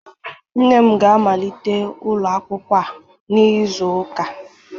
Nne m ga-amalite ụlọ akwụkwọ a n'izu ụka